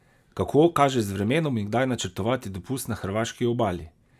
Kako kaže z vremenom in kdaj načrtovati dopust na hrvaški obali?